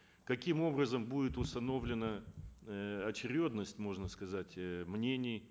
каким образом будет установлена э очередность можно сказать э мнений